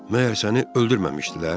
Məyər səni öldürməmişdilər?